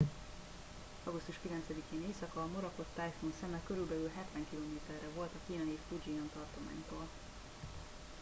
augusztus 9 én éjszaka a morakot tájfun szeme körülbelül hetven kilométerre volt a kínai fujian tartománytól